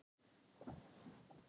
Upphaflega spurningin var: